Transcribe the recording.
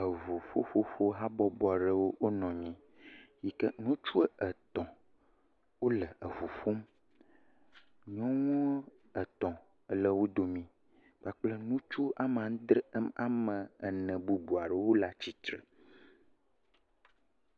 Eʋu ƒu ƒoƒo habɔbɔ ɖewo o nɔnyi yi ke ŋutsue etɔ̃ ole eʋu ƒom, nyɔŋuwo etɔ̃ ele wo domee kpakple nutsu ɔme adre bubua ɖewo ole atsitre.